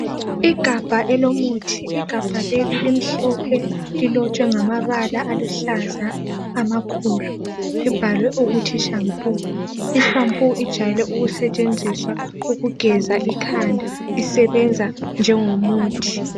Igabha elomuthi, igabha leli limhlophe lilotshwe ngamabala aluhlaza amakhulu, libhaliwe ukuthi shampoo, i shampoo ijwayele ukusetshenziswa ukugeza ikhanda isebenza njengomuthi.